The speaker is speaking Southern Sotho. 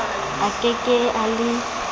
a ke ke a le